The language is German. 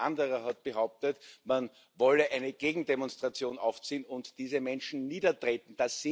Und ein anderer hat behauptet, man wolle eine Gegendemonstration aufziehen und diese Menschen niedertreten.